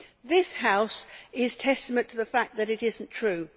This House is testament to the fact that it is not true.